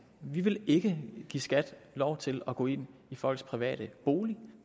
vi vil ikke give skat lov til at gå ind i folks private bolig